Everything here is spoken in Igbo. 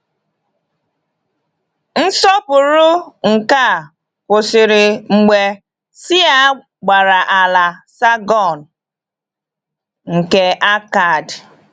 Ịsọpụrụ nke a kwụsịrị mgbe Sịa gbara ala Sàrgọn nke Akkad.